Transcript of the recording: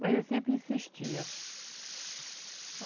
Mas ele sempre insistia.